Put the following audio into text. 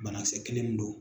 Banakisɛ kelen min don.